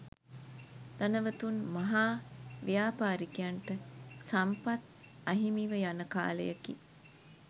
ධනවතුන් මහා ව්‍යාපාරිකයන්ට සම්පත් අහිමිව යන කාලයකි.